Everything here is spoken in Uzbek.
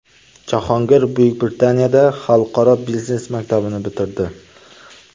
Jahongir Buyuk Britaniyada Xalqaro biznes maktabini bitirdi.